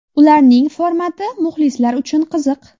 Ularning formati muxlislar uchun qiziq.